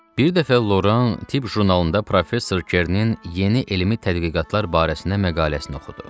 Bir dəfə Loran tibb jurnalında professor Ker'nin yeni elmi tədqiqatlar barəsində məqaləsini oxudu.